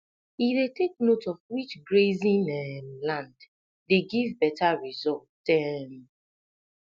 he dey take note of which grazing um land dey give better result um